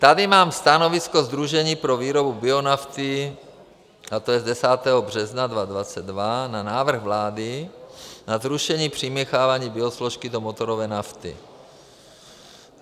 Tady mám stanovisko Sdružení pro výrobu bionafty, a to je z 10. března 2002, na návrh vlády na zrušení přimíchávání biosložky do motorové nafty.